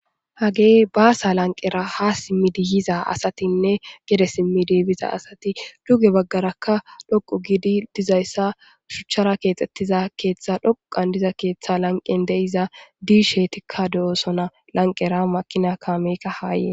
Hagey baasa lanqera ha simmidi yiza asatinne gede simmi diibiza asati duge baggarakka dhoqu gidi dizayssa shuchara keexxettiza keeththa dhoqan diza keeththa lanqen de'iza diishetikka do7osona lanqera makina kaamekka haaye..